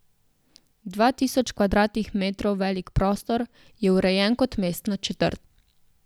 Dva tisoč kvadratnih metrov velik prostor je urejen kot mestna četrt.